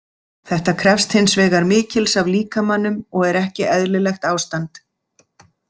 Þetta krefst hins vegar mikils af líkamanum og er ekki eðlilegt ástand.